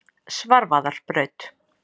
Svarfaðarbraut